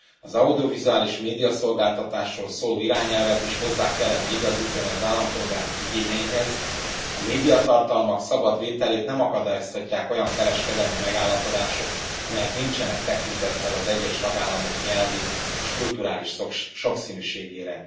Az audiovizuális médiaszolgáltatásról szóló irányelvet is hozzá kellene igazítani az állampolgárok igényeihez, a médiatartalmak szabad vételét nem akadályozhatják olyan kereskedelmi megállapodások, amelyek nincsenek tekintettel az egyes tagállamok nyelvi és kulturális sokszínűségére.